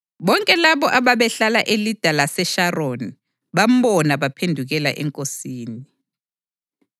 Bonke labo ababehlala eLida laseSharoni bambona baphendukela eNkosini.